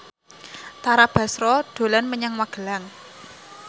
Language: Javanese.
Tara Basro dolan menyang Magelang